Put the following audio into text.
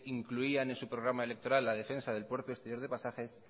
incluían en su programa electoral la defensa del puerto exterior de pasajes